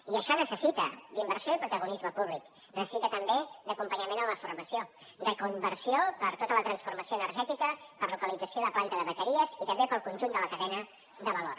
i això necessita inversió i protagonisme públic necessita també acompanyament en la formació conversió per a tota la transformació energètica per a localització de planta de bateries i també per al conjunt de la cadena de valor